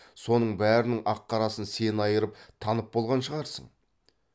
соның бәрінің ақ қарасын сен айырып танып болған шығарсың